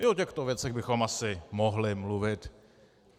I o těchto věcech bychom asi mohli mluvit.